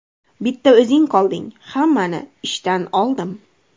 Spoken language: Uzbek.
Bitta o‘zing qolding, hammani ishdan oldim.